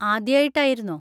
ആദ്യായിട്ടായിരുന്നോ?